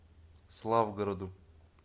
славгороду